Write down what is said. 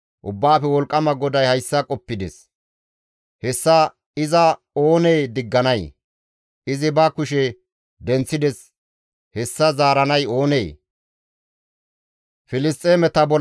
Ubbaafe Wolqqama GODAY hayssa qoppides; hessa iza oonee digganay? Izi ba kushe denththides; hessa zaaranay oonee?